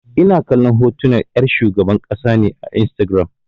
Ina kallon hotunan 'yar shugaban ƙasa ne a Instagiram.